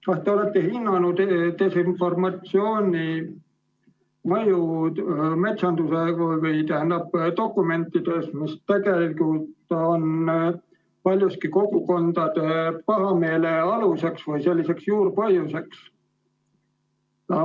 Kas te olete hinnanud desinformatsiooni mõju metsanduse dokumentides, mis tegelikult on paljuski kogukondade pahameele aluseks või selliseks juurpõhjuseks?